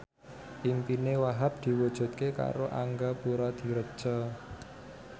impine Wahhab diwujudke karo Angga Puradiredja